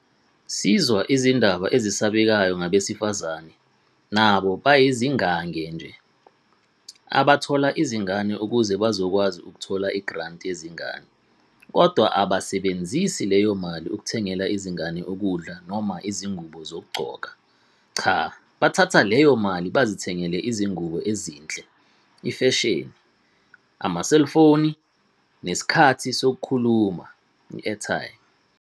Sizwa izindaba ezisabekayo ngabesifazane, nabo bayizingange nje, abathola izingane ukuze bazokwazi ukuthola i'granti' yezingane - kodwa abasebenzisi leyo mali ukuthengela izingane ukudla noma izingubo zokugqoka - qha, bathatha leyo mali bazithengela izingubo ezinhle, 'ifesheni', amaselfoni nesikhathi sokukhuluma, airtime.